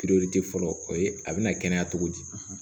fɔlɔ o ye a bɛna kɛnɛya cogo di